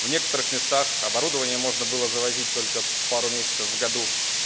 в некоторых местах оборудования можно было завозить только пару месяцев в году